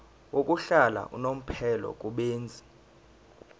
yokuhlala unomphela kubenzi